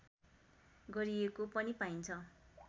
गरिएको पनि पाइन्छ